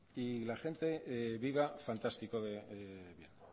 y la gente viva fantástico de bien